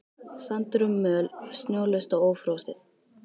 Sandur og möl snjólaust og ófrosið.